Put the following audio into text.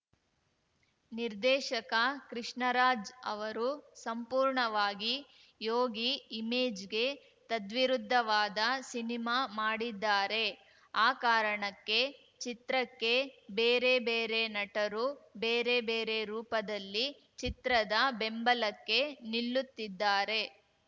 ನಿರ್ದೇಶಕ ಕೃಷ್ಣರಾಜ್‌ ಅವರು ಸಂಪೂರ್ಣವಾಗಿ ಯೋಗಿ ಇಮೇಜ್‌ಗೆ ತದ್ವಿರುದ್ಧವಾದ ಸಿನಿಮಾ ಮಾಡಿದ್ದಾರೆ ಆ ಕಾರಣಕ್ಕೆ ಚಿತ್ರಕ್ಕೆ ಬೇರೆ ಬೇರೆ ನಟರು ಬೇರೆ ಬೇರೆ ರೂಪದಲ್ಲಿ ಚಿತ್ರದ ಬೆಂಬಲಕ್ಕೆ ನಿಲ್ಲುತ್ತಿದ್ದಾರೆ